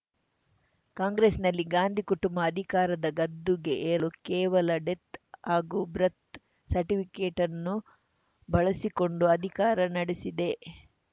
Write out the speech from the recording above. ಕಾಂಗ್ರೆಸ್‌ನಲ್ಲಿ ಗಾಂಧಿ ಕುಟುಂಬ ಅಧಿಕಾರದ ಗದ್ದುಗೆ ಏರಲು ಕೇವಲ ಡೆತ್‌ ಹಾಗೂ ಬ್ರತ್ ಸರ್ಟಿಫಿಕೇಟ್‌ ಅನ್ನು ಬಳಸಿಕೊಂಡು ಅಧಿಕಾರ ನಡೆಸಿದೆ